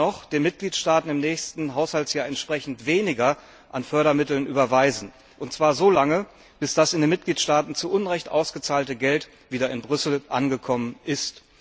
Besser noch, den Mitgliedstaaten im nächsten Haushaltsjahr entsprechend weniger an Fördermitteln überweisen, und zwar so lange, bis das in den Mitgliedstaaten zu Unrecht ausgezahlte Geld wieder in Brüssel angekommen ist.